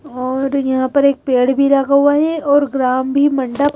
और यहाँ पर एक पेड़ भी लगा हुआ है और ग्राम भी मंडप--